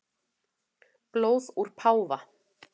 Blóð úr páfa